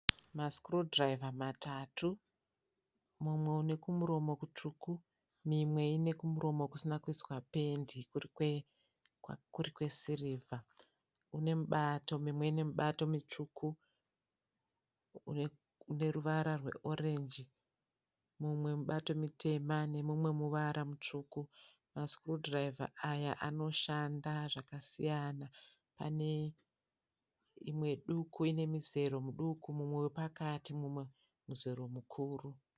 Masikurudhiraivha matatu mumwe unekumuromo kutsvuku mimwe inekumuromo kusina kuiswa pendi kurikwe kurikwesirivha. Unemubato mimwe inemibato mitsvuku neruvara rweorenji mumwe mubato mitema nemumwe muvara mutsvuku. Masikurudhiraivha aya anoshanda zvakasiyana ane imwe duku inemizero muduku mumwe wepakati mumwe muzero mukuru.